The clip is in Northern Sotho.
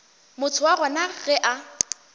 motho wa gona ge a